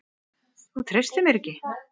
Þú treystir mér ekki!